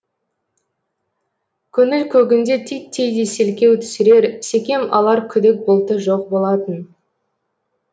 көңіл көгінде титтей де селкеу түсірер секем алар күдік бұлты жоқ болатын